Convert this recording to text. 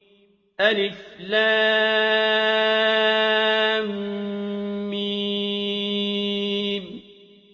الم